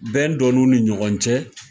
Bɛn donniw ni ɲɔgɔn cɛ.